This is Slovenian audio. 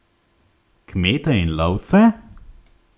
Kmete in lovce?